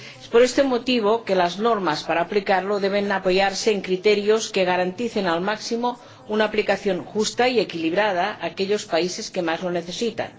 Por este motivo, las normas para aplicarlo deben apoyarse en criterios que garanticen al máximo una aplicación justa y equilibrada a aquellos países que más lo necesitan.